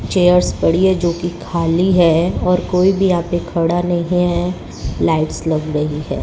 Chairs पड़ी है जो कि खाली है और कोई भी यहां पे खड़ा नहीं है लाइट्स लग रही है।